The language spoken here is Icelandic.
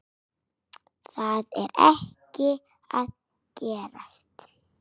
Það er ekki að gerast.